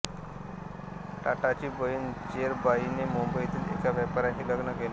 टाटाची बहीण जेरबाईने मुंबईतील एका व्यापाऱ्याशी लग्न केले